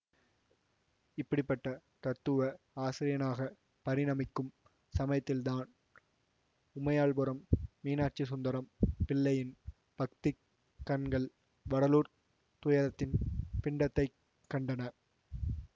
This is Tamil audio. இப்படி பட்ட தத்துவ ஆசிரியனாகப் பரிணமிக்கும் சமயத்தில்தான் உமையாள்புரம் மீனாட்சிசுந்தரம் பிள்ளையின் பக்திக் கண்கள் வடலூர்த் துயரத்தின் பிண்டத்தைக் கண்டன